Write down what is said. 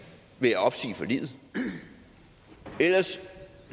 ved at opsige forliget ellers